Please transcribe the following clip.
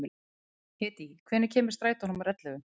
Hedí, hvenær kemur strætó númer ellefu?